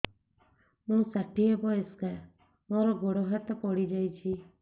ମୁଁ ଷାଠିଏ ବୟସ୍କା ମୋର ଗୋଡ ହାତ ପଡିଯାଇଛି